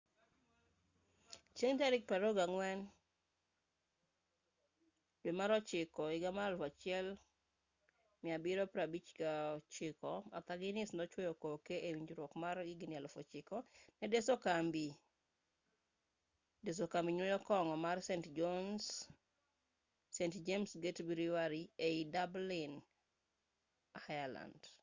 chieng' tarik 24 septemba 1759 arthur guiness nochuoyo koke e winjruok mar higni 9,000 ne deso kambi nyuo kong'o mar st james' gate brewery ei dublin ireland